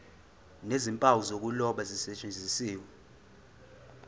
nezimpawu zokuloba zisetshenziswe